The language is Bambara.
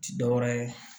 Ti dɔwɛrɛ ye